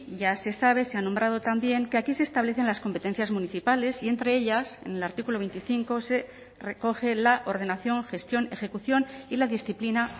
ya se sabe se ha nombrado también que aquí se establecen las competencias municipales y entre ellas en el artículo veinticinco se recoge la ordenación gestión ejecución y la disciplina